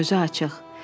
Gözü açıq.